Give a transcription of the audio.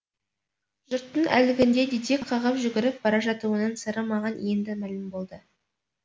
жұрттың әлгінде дедек қағып жүгіріп бара жатуының сыры маған енді мәлім болды